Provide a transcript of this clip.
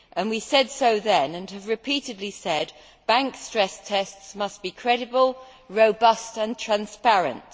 We said so then and have repeatedly said that bank stress tests must be credible, robust and transparent.